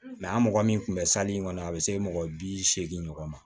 Mɛ an mɔgɔ min tun bɛ kɔnɔ a bɛ se mɔgɔ bi seegin ɲɔgɔn ma